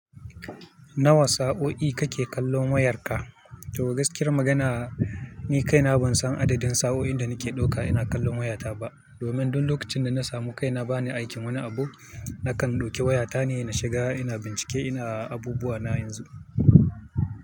Nawa sa'o'i kake kallon wayarka? To gaskiyar magana, ni kaina ban san adadin sa'o'in da nake ɗauka ina kallon wayata ba. Domin duk lokacin da na samu kaina bani aikin wani abu, nakan ɗauki wayata ne na shiga ina bincike ina abubuwa na yanzu.